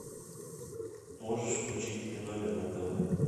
можешь включить ты номер на тв